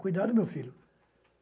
Cuidado, meu filho.